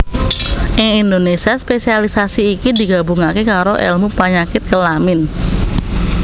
Ing Indonésia spesialisasi iki digabungaké karo èlmu panyakit kelamin